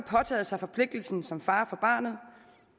påtaget sig forpligtelsen som far for barnet